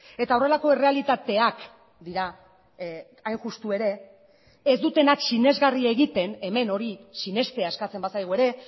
eta horrelako errealitateak dira hain justu ere ez dutenak sinesgarria egiten hemen hori sinestea eskatzen bazaigu ere